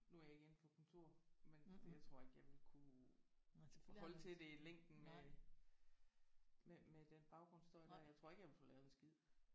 Nu er jeg ikke inde på kontor men jeg tror ikke jeg ville kunne holde til det i længden med med med den baggrundsstøj der jeg tror ikke jeg ville få lavet en skid